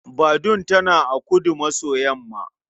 Badun tana a kudu-maso-yamma.